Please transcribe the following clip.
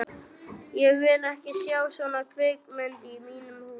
Ég vil ekki sjá svona kvikindi í mínum húsum!